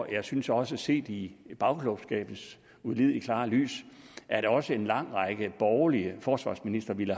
jeg synes også set i bagklogskabens ulideligt klare lys at også en lang række borgerlige forsvarsministre ville